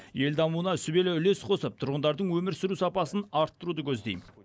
ел дамуына сүбелі үлес қосып тұрғындардың өмір сүру сапасын арттыруды көздеймін